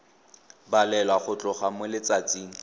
balelwa go tloga mo letsatsing